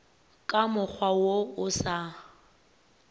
ka mokgwa wo o sa